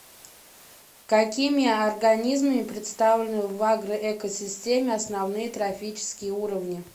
какими организмами представлены в агроэкосистеме основные трофические уровни